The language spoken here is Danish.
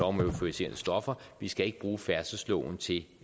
om euforiserende stoffer vi skal ikke bruge færdselsloven til